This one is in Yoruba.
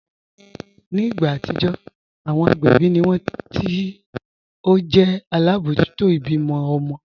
Ní ìgbà atijọ́, awọn agbẹbi ni wọn ti o jẹ̀ alábojútò ibímọ̀ ọmọ̀